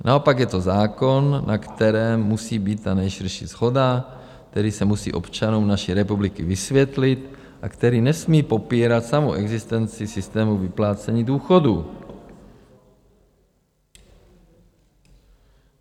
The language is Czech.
Naopak je to zákon, na kterém musí být ta nejširší shoda, který se musí občanům naší republiky vysvětlit a který nesmí popírat samou existenci systému vyplácení důchodů.